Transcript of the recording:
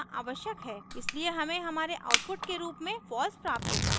इसलिए हमें हमारे output के रूप में false प्राप्त होता है